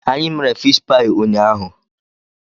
Anyị mere fish paị ụnyaahụ.